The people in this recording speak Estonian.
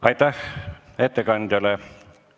Aitäh ettekandjale!